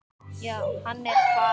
Já, hann er farinn